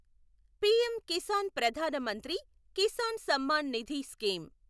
PM Kisan Pradhan Mantri Kisan Samman Nidhi scheme